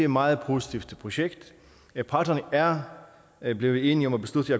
meget positivt projekt parterne er er blevet enige om at beslutte